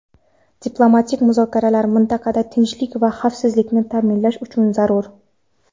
diplomatik muzokaralar mintaqada tinchlik va xavfsizlikni ta’minlash uchun zarur.